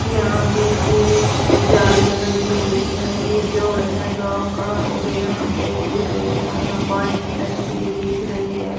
यहां पे ये झाड़ियां लगी हुई है ये जोड़ है गांव का और यहां पे दिख रही है यहां पे पानी की टंकी भी दिख रही है।